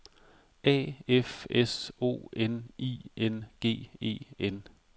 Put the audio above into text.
A F S O N I N G E N